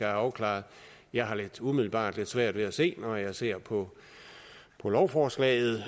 afklaret jeg har umiddelbart lidt svært ved at se når jeg ser på lovforslaget